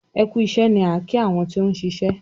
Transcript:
"ẹkú iṣé " ní a ki àwọn tí òun ṣiṣẹ.